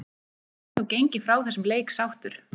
Hann getur þó gengið frá þessum leik sáttur.